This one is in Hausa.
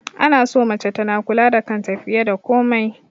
Ana so mace tana kula da kanta fiye da komai